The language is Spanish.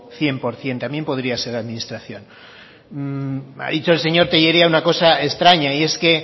cien por ciento también podría ser administración ha dicho el señor tellería una cosa extraña y es que